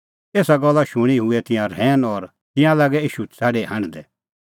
एसा गल्ला शूणीं हुऐ तिंयां रहैन और तिंयां लागै ईशू छ़ाडी हांढदै